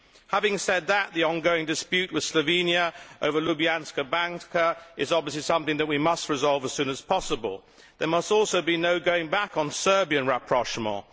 Having said that, the ongoing dispute with Slovenia over Ljubljanska Banka is obviously something that we must resolve as soon as possible. There must also be no going back on Serbian rapprochement.